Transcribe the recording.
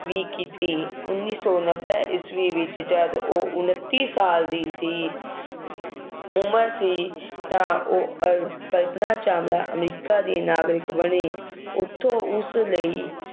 ਵੀ ਕੀਤੀ, ਉੱਨੀ ਸੌ ਨੱਬੇ ਈਸਵੀ ਵਿੱਚ ਜਦੋਂ ਉਹ ਉਨੱਤੀ ਸਾਲ ਦੀ ਸੀ ਉਮਰ ਸੀ ਤਾਂ ਅਹ ਉਹ ਅਹ ਕਲਪਨਾ ਚਾਵਲਾ ਅਮਰੀਕਾ ਦੇ ਨਾਗਰਿਕ ਬਣੇ, ਉੱਥੋਂ ਉਸ ਲਈ